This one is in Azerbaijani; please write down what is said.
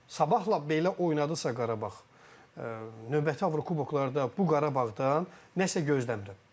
Sabahla belə oynadısa Qarabağ, növbəti avrokuboklarda bu Qarabağdan nəsə gözləmirəm.